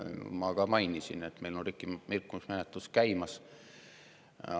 Ma mainisin, et meil on rikkumismenetlus käimas.